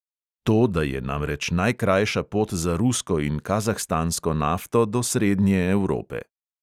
To da je namreč najkrajša pot za rusko in kazahstansko nafto do srednje evrope.